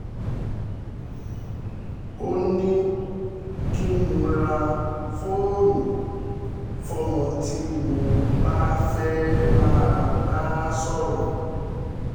ó ní kí n ra fóònù fọ́mọ tí mo bá fẹ́ẹ́ máa bá a sọ̀rọ̀